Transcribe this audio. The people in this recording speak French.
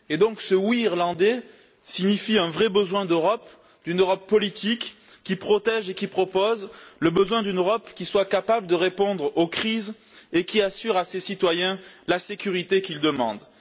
Et ce oui irlandais traduit donc un vrai besoin d'Europe, d'une Europe politique, qui protège et qui propose, le besoin d'une Europe qui soit capable de répondre aux crises et qui assure à ses citoyens la sécurité qu'ils demandent.